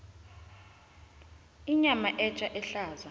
inyama etja ehlaza